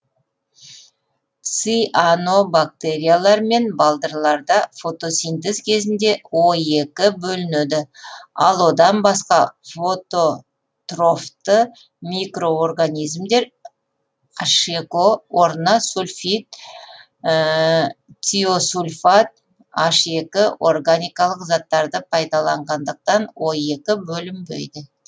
ци а нобактериялар мен балдырларда фотосинтез кезінде о екі бөлінеді ал одан басқа фото трофты микроорганизмдер некіо орнына сульфид тиосульфат некі органикалық заттарды пайдаланғандықтан оекі бөлінбейді